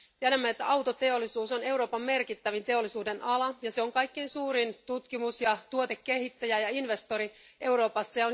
Tiedämme, että autoteollisuus on Euroopan merkittävin teollisuudenala ja kaikkein suurin tutkimus ja tuotekehittäjä ja investori Euroopassa.